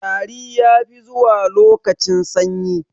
Tari ya fi zuwa lokacin sanyi